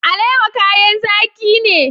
Alewa kayan zaki ne.